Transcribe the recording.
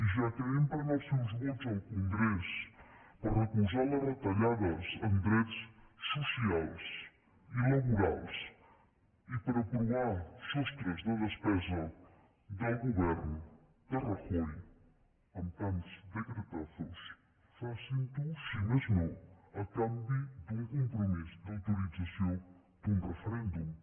ja que empren els seus vots al congrés per recolzar les retallades en drets socials i laborals i per aprovar sostres de despesa del govern de rajoy amb tants decretazosfacin ho si més no a canvi d’un compromís d’autorització d’un referèndum